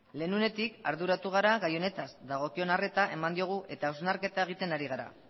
betidanik arduratu gara gai honetaz dagokion arreta eman diogu eta hausnarketa egiten ari gara